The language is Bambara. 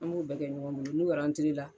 An b'o bɛɛ kɛ ɲɔgɔn bolo n'u la